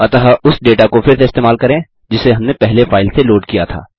अतः उस डेटा को फिर से इस्तेमाल करें जिसे हमने पहले फाइल से लोड किया था